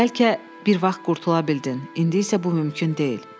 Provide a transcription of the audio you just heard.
Bəlkə bir vaxt qurtula bildin, indi isə bu mümkün deyil.